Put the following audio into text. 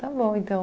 Tá bom, então.